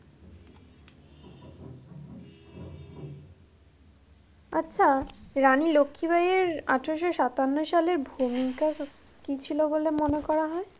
আচ্ছা রানী লক্ষি বাইয়ের আঠেরোশো সাতান্ন সালে ভূমিকা কি ছিল বলে মনে করা হয়ে?